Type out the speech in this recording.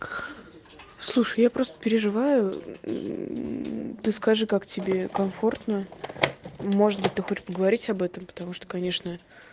слушай я просто переживаю ты скажи как тебе комфортно может быть ты хочешь поговорить об этом потому что конечно